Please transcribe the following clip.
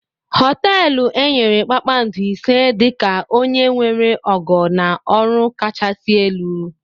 Hoteelu enyere kpakpando ise dị ka onye nwere ogo na ọrụ kachasị elu.